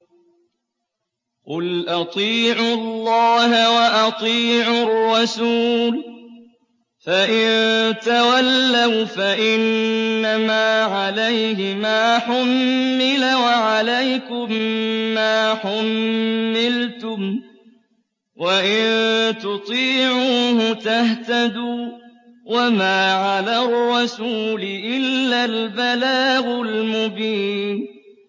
قُلْ أَطِيعُوا اللَّهَ وَأَطِيعُوا الرَّسُولَ ۖ فَإِن تَوَلَّوْا فَإِنَّمَا عَلَيْهِ مَا حُمِّلَ وَعَلَيْكُم مَّا حُمِّلْتُمْ ۖ وَإِن تُطِيعُوهُ تَهْتَدُوا ۚ وَمَا عَلَى الرَّسُولِ إِلَّا الْبَلَاغُ الْمُبِينُ